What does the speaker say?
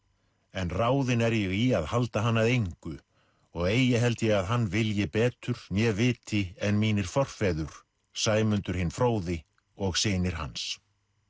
en ráðinn er ég í að halda hann að engu og eigi held ég að hann vilji betur né viti en mínir forfeður Sæmundur hinn fróði og synir hans